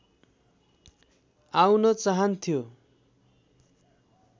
आउन चाहन्थ्यो